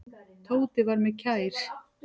Tóti var mér kær.